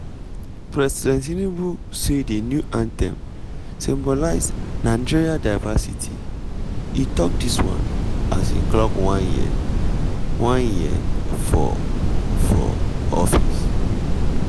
president tinubu say di new anthem symbolize nigeria diversity e tok dis one as im clock one year one year for for office.